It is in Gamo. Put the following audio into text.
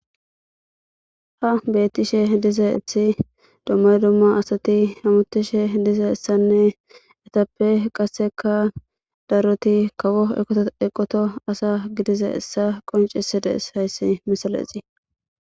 ha bettishe diza ethi dummay dumma asati hamutishe diza essanne etappe qasseka daroti kawo eqoto eqoto asa gidiza essa qoncisidees hayssi misalexi